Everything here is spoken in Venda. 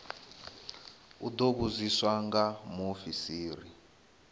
u ḓo vhudziswa nga muofisiri